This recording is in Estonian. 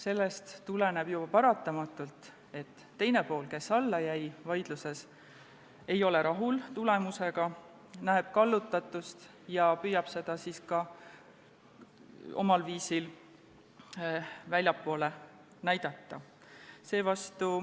Sellest tuleneb ju paratamatult, et see pool, kes jäi vaidluses alla, ei ole tulemusega rahul, arvab nägevat kallutatust ja püüab seda siis omal viisil ka väljapoole näidata.